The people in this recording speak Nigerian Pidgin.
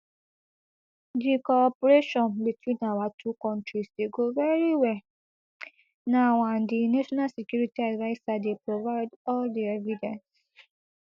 di cooperation between our two kontris dey go very well now and di national security adviser dey provide all di evidence